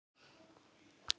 Ekkert um að vera.